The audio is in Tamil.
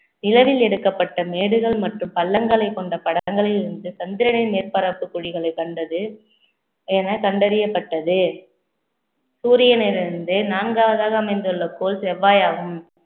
நிலவில் எடுக்கப்பட்ட மேடுகள் மற்றும் பள்ளங்களைக் கொண்ட படங்களிலிருந்து சந்திரனை மேற்பரப்பு குழிகளைக் கண்டது என கண்டறியப்பட்டது சூரியனிலிருந்து நான்காவதாக அமைந்துள்ள கோள் செவ்வாய் ஆகும்